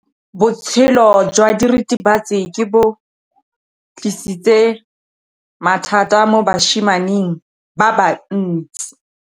Botshelo jwa diritibatsi ke bo tlisitse mathata mo basimaneng ba bantsi.